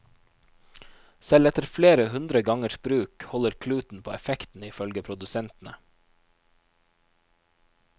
Selv etter flere hundre gangers bruk holder kluten på effekten, i følge produsentene.